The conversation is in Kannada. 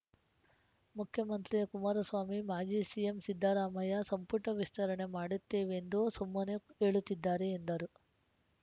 ಮುಖ್ಯಮಂತ್ರಿ ಕುಮಾರಸ್ವಾಮಿ ಮಾಜಿ ಸಿಎಂ ಸಿದ್ದರಾಮಯ್ಯ ಸಂಪುಟ ವಿಸ್ತರಣೆ ಮಾಡುತ್ತೇವೆಂದು ಸುಮ್ಮನೆ ಹೇಳುತ್ತಿದ್ದಾರೆ ಎಂದರು